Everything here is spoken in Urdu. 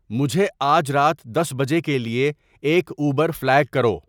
مجھے آج رات دس بجے کے لیے ایک اوبر فلیگ کرو